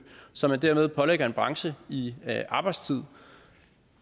som man dermed pålægger en branche i arbejdstid